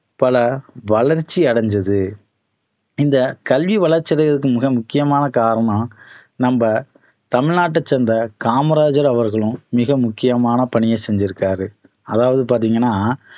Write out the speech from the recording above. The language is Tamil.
பல வளர்ச்சி அடைந்தது இந்த கல்வி வளர்ச்சி அடையறதுக்கு மிக முக்கியமான காரணம் நம்ம தமிழ்நாட்ட சேர்ந்த காமராஜர் அவர்களும் மிக முக்கியமான பணியை செஞ்சுருக்காரு அதாவது பார்த்தீங்கன்னா